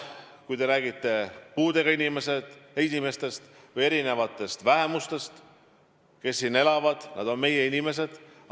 Kui te räägite puudega inimestest või muudest vähemustest, kes siin elavad – nad on meie inimesed.